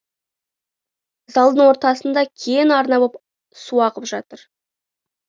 залдың ортасында кең арна боп су ағып жатыр